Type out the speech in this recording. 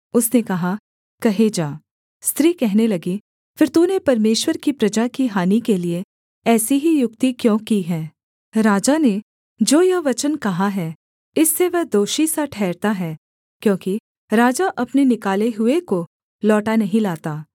उसने कहा कहे जा स्त्री कहने लगी फिर तूने परमेश्वर की प्रजा की हानि के लिये ऐसी ही युक्ति क्यों की है राजा ने जो यह वचन कहा है इससे वह दोषी सा ठहरता है क्योंकि राजा अपने निकाले हुए को लौटा नहीं लाता